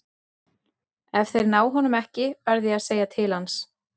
Ef þeir ná honum ekki verð ég að segja til hans.